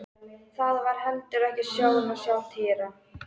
Það var heldur ekki sjón að sjá Týra.